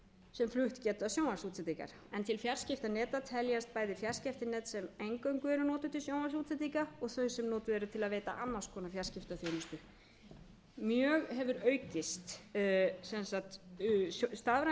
sem flutt geta sjónvarpsútsendingar til fjarskiptaneta teljast bæði fjarskiptanet sem eingöngu eru notuð til sjónvarpsútsendinga og þau sem notuð eru til að veita annars konar fjarskiptaþjónustu stafræn